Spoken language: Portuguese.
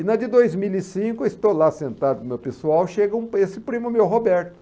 E na de dois mil e cinco, estou lá sentado com o meu pessoal, chega esse primo meu, Roberto.